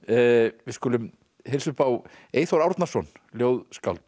við skulum heilsa upp á Eyþór Árnason ljóðskáld